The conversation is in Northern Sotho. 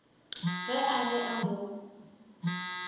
ge a be a mo